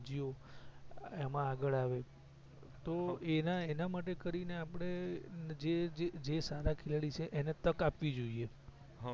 એમાં આગડ આવે તો એના એના માટે કરી ને આપડે જે જે સારા ખેલાડી છે એણે તક આપવી જોઈએ